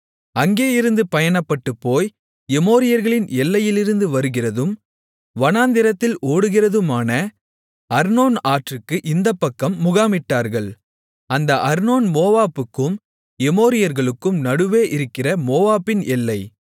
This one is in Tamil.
அங்கேயிருந்து பயணப்பட்டுப் போய் எமோரியர்களின் எல்லையிலிருந்து வருகிறதும் வனாந்திரத்தில் ஓடுகிறதுமான அர்னோன் ஆற்றுக்கு இந்தப்பக்கம் முகாமிட்டார்கள் அந்த அர்னோன் மோவாபுக்கும் எமோரியர்களுக்கும் நடுவே இருக்கிற மோவாபின் எல்லை